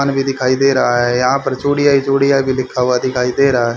हाल भी दिखाई दे रहा है। यहां पर चूड़ियां चूड़ियां की बिखा हुआ दिखाई दे रहा है।